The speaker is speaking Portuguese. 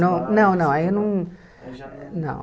Não, não, não aí eu não não.